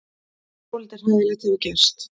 Svolítið hræðilegt hefur gerst.